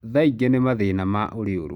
Thaingĩ nĩ mathĩna ma ũriũrũ.